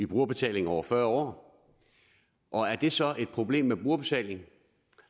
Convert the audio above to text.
brugerbetaling over fyrre år er det så er problem med brugerbetaling